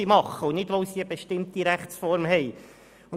Dies jedoch nicht, weil sie eine bestimmte Rechtsform haben.